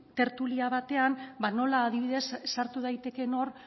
tertulian batean nola adibidez sartu daitekeen hor